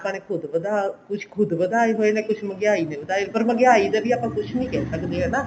ਆਪਾਂ ਨੇ ਖੁੱਦ ਵੱਧਾ ਕੁੱਛ ਖੁੱਦ ਵਧਾਏ ਹੋਏ ਨੇ ਕੁੱਛ ਮਹਿੰਗਿਆਈ ਨੇ ਵਧਾਏ ਪਰ ਮਹਿੰਗਿਆਈ ਦੇ ਵਧਾਏ ਆਪਾਂ ਕੁੱਛ ਨੀ ਕਹਿ ਸਕਦੇ ਹਨਾ